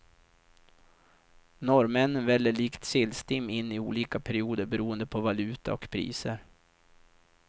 Norrmännen väller likt sillstim in i olika perioder beroende på valuta och priser.